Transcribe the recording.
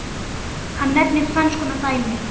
Hann nefnir tvenns konar dæmi